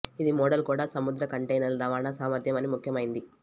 ఇది మోడల్ కూడా సముద్ర కంటైనర్లు రవాణా సామర్థ్యం అని ముఖ్యమైనది